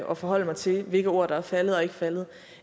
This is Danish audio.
og forholde mig til hvilke ord der er faldet eller ikke faldet